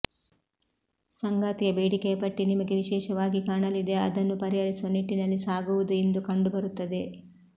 ಸಂಗಾತಿಯ ಬೇಡಿಕೆಯ ಪಟ್ಟಿ ನಿಮಗೆ ವಿಶೇಷವಾಗಿ ಕಾಣಲಿದೆ ಅದನ್ನು ಪರಿಹರಿಸುವ ನಿಟ್ಟಿನಲ್ಲಿ ಸಾಗುವುದು ಇಂದು ಕಂಡುಬರುತ್ತದೆ